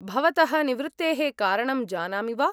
भवतः निवृत्तेः कारणं जानामि वा?